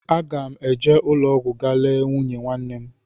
Aga m eje ụlọọgwụ ga lee nwunye nwanne m